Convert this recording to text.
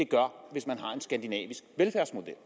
gøre hvis man har en skandinavisk velfærdsmodel